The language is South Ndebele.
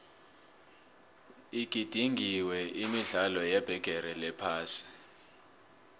igidingwenini imidlalo yebigiri yephasi